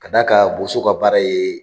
Ka d'a kan Boso ka baara ye